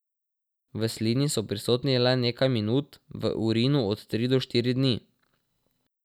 V slini so prisotni le nekaj minut, v urinu od tri do štiri dni.